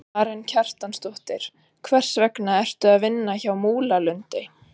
Karen Kjartansdóttir: Hvers vegna ertu að vinna hjá Múlalundi?